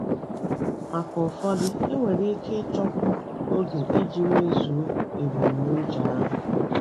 Maka ụfọdụ, enwere ike ịchọkwu oge iji mezuo ebumnuche ahụ.